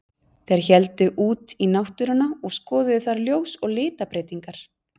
Þeir héldu út í náttúruna og skoðuðu þar ljós og litabreytingar.